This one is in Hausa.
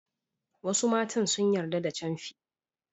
Wasu matan sun yarda da camfi.